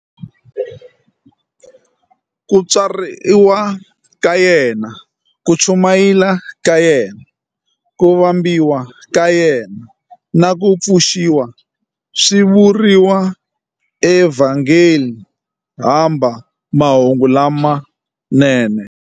Ku tswariwa ka yena, ku chumayela ka yena, ku vambiwa ka yena, na ku pfuxiwa swi vuriwa eVhangeli hamba Mahungu lamanene.